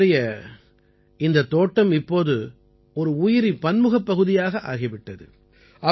அவருடைய இந்தத் தோட்டம் இப்போது ஒரு உயிரி பன்முகப் பகுதியாக ஆகி விட்டது